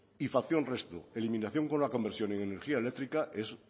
y facción resto eliminación con la conversión en energía eléctrica es